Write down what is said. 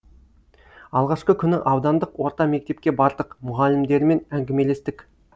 алғашқы күні аудандық орта мектепке бардық мұғалімдермен әңгімелестік